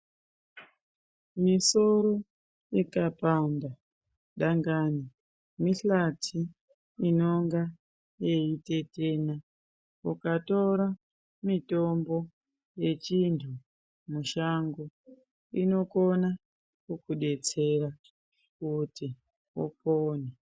Misoro ikapanda dangani mihlati inonga yeitetena ukatora mitombo yechinhu mushango ino kona kukudetsera kuti upone.